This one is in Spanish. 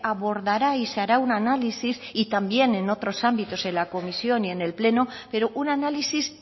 abordará y se hará un análisis y también en otros ámbitos de la comisión y en el pleno pero un análisis